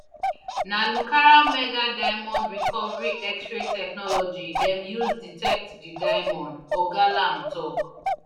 na lucara mega diamond recovery xray technology dem use detect di diamond oga lamb tok